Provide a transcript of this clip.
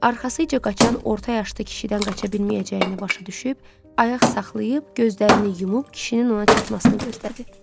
Arxasıca qaçan orta yaşlı kişidən qaça bilməyəcəyini başa düşüb, ayaq saxlayıb, gözlərini yumub kişinin ona çatmasını gözlədi.